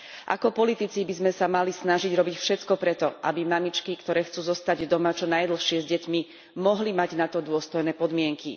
Ako politici by sme sa mali snažiť robiť všetko pre to, aby mamičky, ktoré chcú zostať doma čo najdlhšie s deťmi, mohli mať na to dôstojné podmienky.